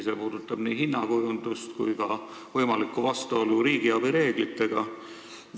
See puudutab nii hinnakujundust kui ka võimalikku vastuolu riigiabi reeglitega.